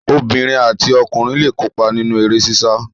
Obìnrin àti ọkùnrin le kópa nínú eré sísá.